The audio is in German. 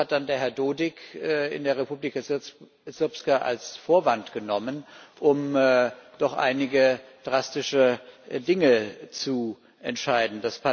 Das hat dann der Herr Dodik in der Republika Srpska als Vorwand genommen, um doch einige drastische Dinge zu entscheiden.